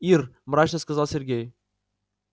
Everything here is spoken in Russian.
ир мрачно сказал сергей